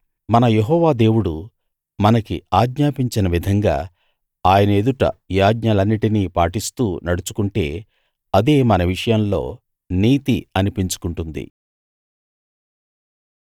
మన యెహోవా దేవుడు మనకి ఆజ్ఞాపించిన విధంగా ఆయన ఎదుట ఈ ఆజ్ఞలన్నిటినీ పాటిస్తూ నడుచుకుంటే అదే మన విషయంలో నీతి అనిపించుకుంటుంది